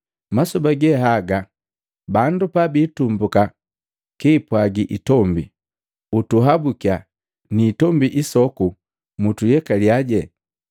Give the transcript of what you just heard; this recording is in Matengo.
Masoba ge haga, bandu pa biitumbuka kiipwagi itombi, ‘Mtuhabukiya!’ Ni itombi isoku, ‘Mtuyelalya!’